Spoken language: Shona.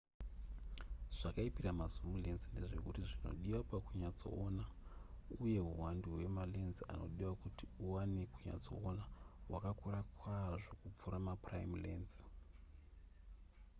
zvakaipira ma zoom lense ndezvekuti zvinodiwa pakunyatsoona uye huwandu hwemalense anodiwa kuti uwane kunyatsoona hwakakura kwazvo kupfuura maprime lense